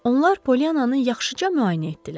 Onlar Polyananın yaxşıca müayinə etdilər.